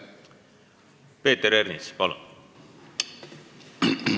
Peeter Ernits, palun!